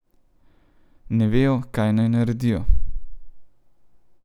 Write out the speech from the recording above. Ne vejo, kaj naj naredijo.